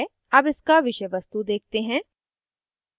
अब इसका विषय वस्तु देखते हैं